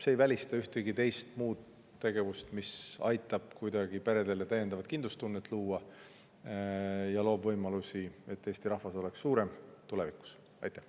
See ei välista ühtegi muud tegevust, mis aitab peredele täiendavat kindlustunnet luua, ja loob võimalusi, et Eesti rahvas oleks tulevikus suurem.